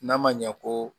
N'a ma ɲɛ ko